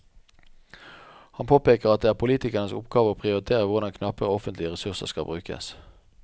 Han påpeker at det er politikernes oppgave å prioritere hvordan knappe offentlige ressurser skal brukes.